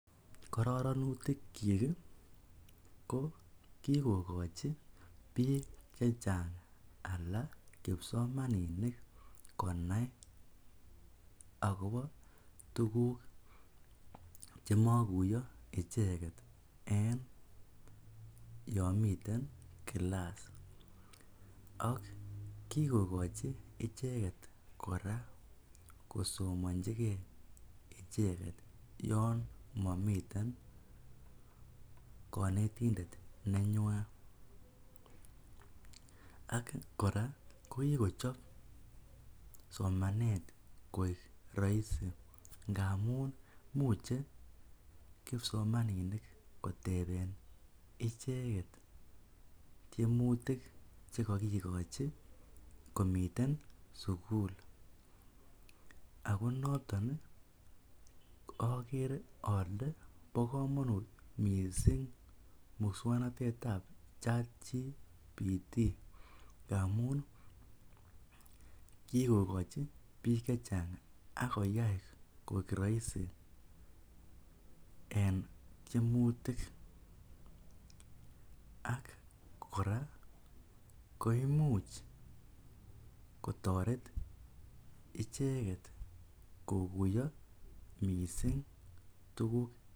Kororonutikyik ko kikokochi biik chechang alaa kipsomaninik konai ak kobo tukuk chemokuiyo icheket en yoon miten kilas ak kikokochi icheket kora kosomonchike icheket yoon momiten konetindet nenywan, ak kora ko kikochob somanet koik roisi ngamun imuche kipsomaninik koteben icheket tiemutik chekokikochi komiten sukul ak ko noton okere olee bokomonut mising muswoknotetab chatgpt ndamun kikokochi biik chechang ak koyai koik roisi en tiemutik ak kora koimuch kotoret icheket kokuiyo mising tukuk.